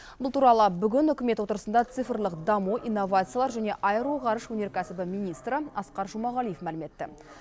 бұл туралы бүгін үкімет отырысында цифрлық даму инновациялар және аэроғарыш өнеркәсібі министрі асқар жұмағалиев мәлім етті